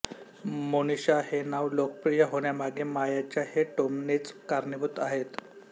मोनिषा हे नाव लोकप्रिय होण्यामागे मायाच्या हे टोमणेच कारणीभूत आहेत